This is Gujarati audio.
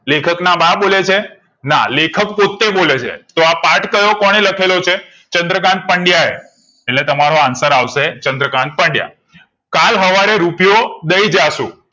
લેખક ના બા બોલે છે ના લેખક પોતે બોલે છે તો આ પાથ કયો કોને લખેલો છે ચંદ્રકાન્ત પંડયાએ એટલે તમારો answer આવશે ચંદ્રકાન્ત પંડયા કલ હવારે રૂપિયો દય જાશું